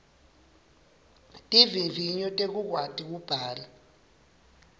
tivivinyo tekukwati kubhala